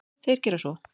Þeir gera svo.